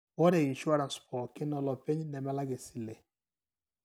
ore"insurance " pooki olopeny nemelak esile.